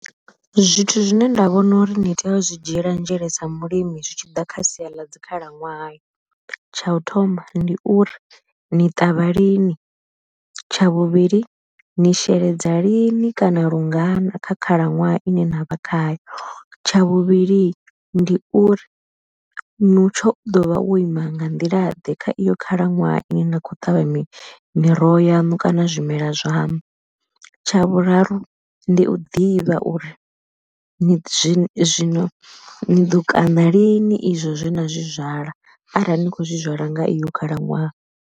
Zwithu zwine nda vhona uri ni tea u zwi dzhiela nzhele sa mulimi zwi tshi ḓa kha sia ḽa dzi khalaṅwaha, tsha u thoma ndi uri ni ṱavha lini, tsha vhuvhili ni sheledza lini kana lungana kha khalaṅwaha ine na vha khayo. Tsha vhuvhili ndi uri mutsho u ḓovha wo ima nga nḓila ḓe kha iyo khalaṅwaha ine na kho ṱavha miroho yaṋu kana zwimela zwaṋu, tsha vhuraru ndi u ḓivha uri zwino ni ḓo kana lini izwo zwena zwizwala arali ni kho zwizwala nga iyo khalaṅwaha.